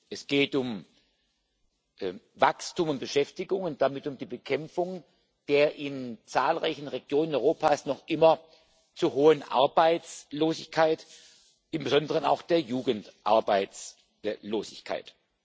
Es geht um Wachstum und Beschäftigung und damit um die Bekämpfung der in zahlreichen Regionen Europas noch immer zu hohen Arbeitslosigkeit, insbesondere auch der Jugendarbeitslosigkeit.